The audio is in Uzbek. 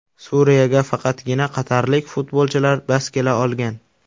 Suriyaga faqatgina qatarlik futbolchilar bas kela olgan.